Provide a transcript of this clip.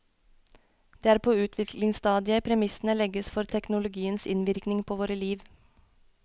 Det er på utviklingsstadiet premissene legges for teknologiens innvirkning på våre liv.